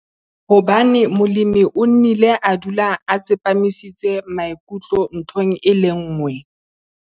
Hobane molemi o nnile a dula a tsepamisitse maikutlo nthong e le nngwe.